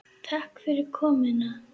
Takk fyrir komuna.